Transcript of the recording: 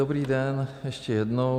Dobrý den ještě jednou.